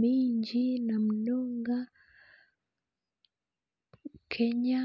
mingi na munonga Kenya,